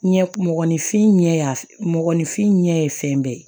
Ɲɛ mɔgɔninfin ɲɛfin ɲɛ fɛn bɛɛ ye